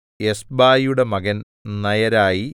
എസ്ബായിയുടെ മകൻ നയരായി